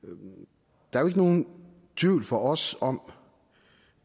der er jo ikke nogen tvivl for os om